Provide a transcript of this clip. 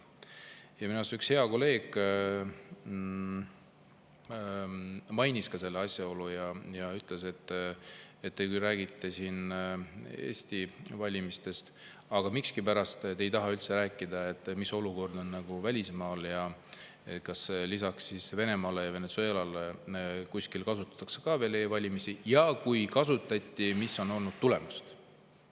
Ja minu arust üks hea kolleeg mainis ka seda asjaolu ja ütles, et te küll räägite siin Eesti valimistest, aga miskipärast ei taha üldse rääkida, mis olukord on välismaal ja kas lisaks Venemaale ja Venezuelale kuskil veel kasutatakse e-valimisi, ja kui kasutatakse, mis on olnud tulemused.